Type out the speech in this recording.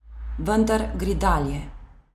Vendar gre dalje.